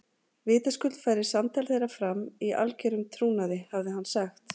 Vitaskuld færi samtal þeirra fram í algerum trúnaði, hafði hann sagt.